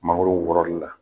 Mangoro wɔrɔli la